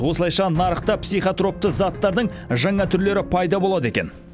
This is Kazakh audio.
осылайша нарықта психотропты заттардың жаңа түрлері пайда болады екен